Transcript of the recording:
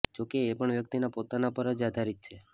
જો કે એ પણ વ્યક્તિના પોતાના પર જ આધારિત છે